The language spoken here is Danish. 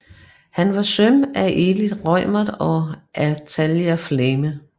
Han var søn af Elith Reumert og Athalia Flammé